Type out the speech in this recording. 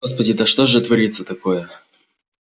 господи да что же творится такое